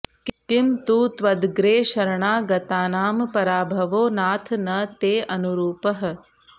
किं तु त्वदग्रे शरणागतानां पराभवो नाथ न तेऽनुरूपः